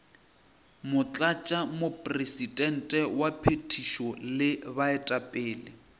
motlatšamopresidente wa phethišo le baetapele